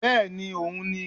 Bẹ́ẹ̀ni òun ni